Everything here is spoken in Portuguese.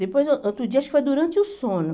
Depois, eu outro dia, acho que foi durante o sono.